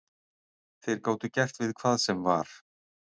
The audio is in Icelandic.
Þeir gátu gert við hvað sem var.